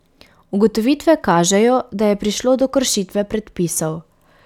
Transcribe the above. Ugotovitve kažejo, da je prišlo do kršitve predpisov.